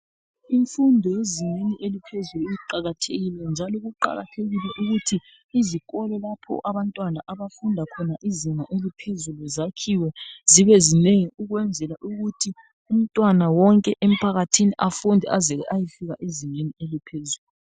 Imfundo ezingeni eliphezlu iqakathekile. Njalo kuqakathekile ukuthi izikolo lapho abantwana, abafunda khona izinga eliphezulu, zakhiwe zibezinengi. Ukwenzela ukuthi umntwana wonke emphakathini, afunde aze ayefika ezingeni eliphezulu.